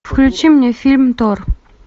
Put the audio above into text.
включи мне фильм тор